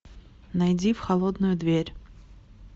найди в холодную дверь